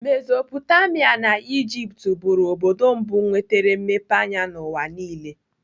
Mesopotamia na Ijipt bụrụ obodo mbụ nwetere mmepe anya n'ụwa niile.